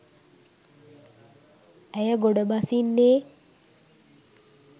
ඇය ගොඩ බසින්නේ